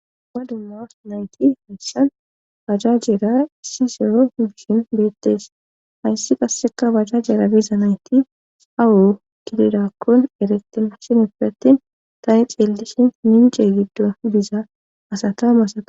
Ha dumma nayti hayssan bajajeera issisero ubishin beettes hayssi qasseka bajajeera biza nayti awu kilirakkon eretin shinippe attin tani xeellishin mince giddo diza asata masa.